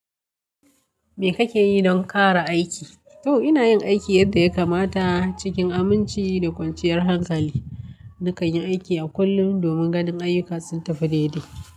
Me kake yi don ƙara aiki? To, ina yin aiki yadda ya kamata cikin aminci da kwanciyar hankali. Nakan yi aiki a kullum domin ganin aiyuka sun tafi daidai.